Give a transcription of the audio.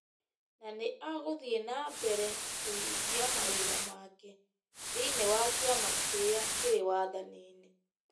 Na nĩ agũthiĩ na mbere kũhingia mawĩra make thĩinĩ wa kĩama kĩrĩa kĩrĩ wathani-inĩ.